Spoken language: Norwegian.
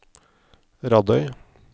Radøy